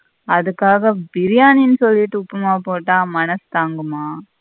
அதுக்காக பிரியானினு சொல்லிட்டு உப்புமாவா போட்ட மனசு தாங்குமா.